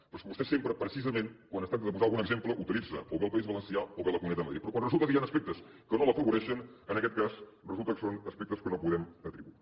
però és que vostè sempre precisament quan es tracta de posar algun exemple utilitza o bé el país valencià o bé la comunitat de madrid però quan resulta que hi han aspectes que no l’afavoreixen en aquest cas resulta que són aspectes que no podem atribuir